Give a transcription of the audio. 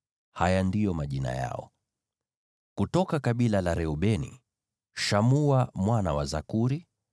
Haya ndiyo majina yao: kutoka kabila la Reubeni, Shamua mwana wa Zakuri;